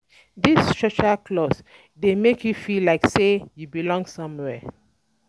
These um social um clubs de make you feel like say um you belong somewhere